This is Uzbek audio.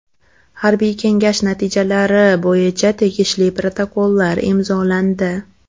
Harbiy kengash natijalari bo‘yicha tegishli protokollar imzolandi.